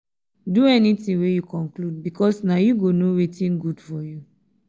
do anytin wey yu conclude bikos na yu go no wetin gud for yu